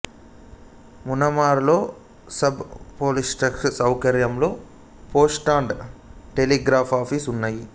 మునమర్రులో sub post office సౌకర్యం post and telegraph office ఉన్నాయి